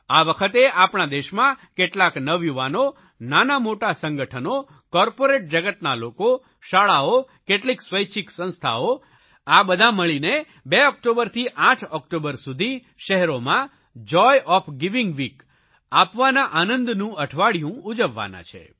આ વખતે આપણા દેશમાં કેટલાક નવયુવાનો નાનામોટા સંગઠનો કોર્પોરેટ જગતના લોકો શાળાઓ કેટલિક સ્વૈચ્છિક સંસ્થાઓ આ બધા મળીને 2 ઓકટોબરથી 8 ઓકટોબર સુધી શહેરોમાં જોય ઓએફ ગિવિંગ વીક આપવાના આનંદનું અઠવાડિયું ઉજવવાના છે